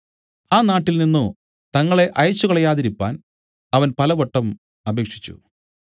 ആ നാട്ടിൽ നിന്നു തങ്ങളെ അയച്ചുകളയാതിരിക്കുവാൻ അവൻ പലവട്ടം അപേക്ഷിച്ചു